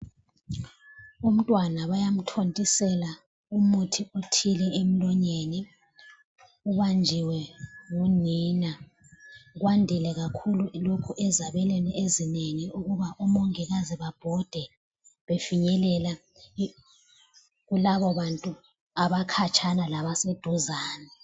Umntwana bayamthontisela umuthi othile emlonyeni, ubanjiwe ngunina. Kwandile kakhulu lokho ezabelweni ezinengi ukuba umongikazi, babhode befinyelela kulabobantu abakhatshana labaseduzane.